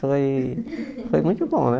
Foi foi muito bom, né?